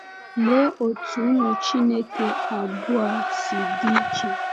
Lee otú ụmụ Chineke abụọ a si dị iche!